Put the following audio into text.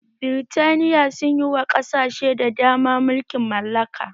Birtaniya sun yi wa ƙasashe da dama mulkin mallaka